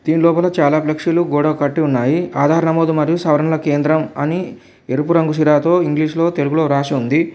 దీని లోపల చాలా ఫ్లెక్సీలు గోడకు కట్టి ఉన్నాయి ఆధార్ నమోదు మరియు సవరణ కేంద్రం అని ఎరుపు రంగు సిరాతో ఇంగ్లీషులో తెలుగులో రాసియుంది.